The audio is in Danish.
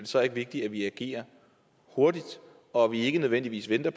så ikke vigtigt at vi agerer hurtigt og at vi ikke nødvendigvis venter